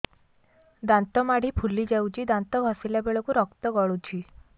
ଦାନ୍ତ ମାଢ଼ୀ ଫୁଲି ଯାଉଛି ଦାନ୍ତ ଘଷିଲା ବେଳକୁ ରକ୍ତ ଗଳୁଛି